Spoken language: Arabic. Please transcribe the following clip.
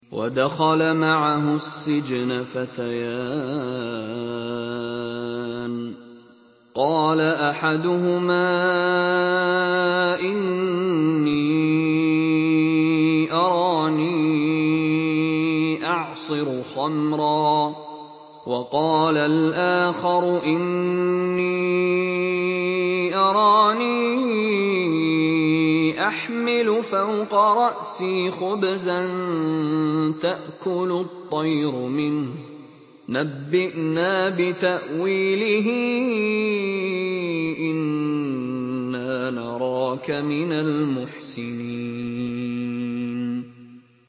وَدَخَلَ مَعَهُ السِّجْنَ فَتَيَانِ ۖ قَالَ أَحَدُهُمَا إِنِّي أَرَانِي أَعْصِرُ خَمْرًا ۖ وَقَالَ الْآخَرُ إِنِّي أَرَانِي أَحْمِلُ فَوْقَ رَأْسِي خُبْزًا تَأْكُلُ الطَّيْرُ مِنْهُ ۖ نَبِّئْنَا بِتَأْوِيلِهِ ۖ إِنَّا نَرَاكَ مِنَ الْمُحْسِنِينَ